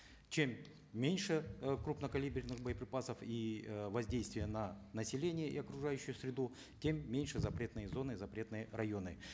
чем меньше э крупнокалиберных боеприпасов и э воздействия на население и окружающую среду тем меньше запретные зоны запретные районы